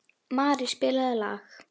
Mari, spilaðu lag.